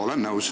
Olen nõus.